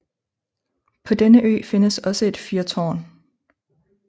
På denne ø findes også et fyrtårn